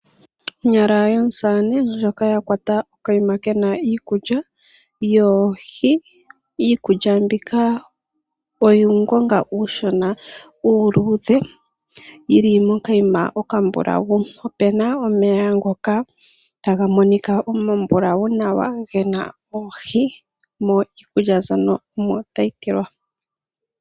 Onyala yomusamane ndjoka ya kwata okayima ke na iikulya yoohi, iikulya mbika oyo uungonga uushona uuluudhe yi li mokayima okambulawu. Opu na omeya ngoka taga monika omambulawu nawa ge na oohi niikulya mbyoka omo tayi tilwa.